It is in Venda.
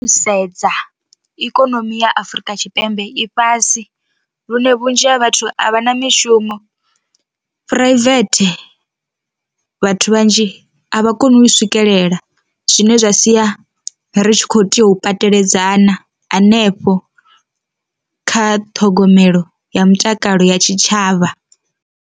Sedza ikonomi ya Afrika Tshipembe i fhasi lune vhunzhi ha vhathu a vha na mishumo, phuraivethe vhathu vhanzhi a vha vha koni u swikelela zwine zwa sia ri kho tea u pateledzana hanefho kha ṱhogomelo ya mutakalo ya tshitshavha.